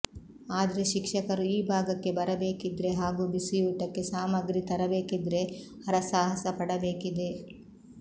ಆದ್ರೆ ಶಿಕ್ಷಕರು ಈ ಭಾಗಕ್ಕೆ ಬರಬೇಕಿದ್ರೆ ಹಾಗೂ ಬಿಸಿಯೂಟಕ್ಕೆ ಸಾಮಗ್ರಿ ತರಬೇಕಿದ್ರೆ ಹರಸಾಹಸ ಪಡಬೇಕಿದೆ